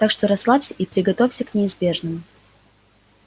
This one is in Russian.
так что расслабься и приготовься к неизбежному